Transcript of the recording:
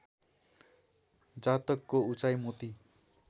जातकको उचाइ मोती